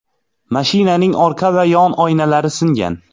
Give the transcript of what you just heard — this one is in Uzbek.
Mashinaning orqa va yon oynalari singan.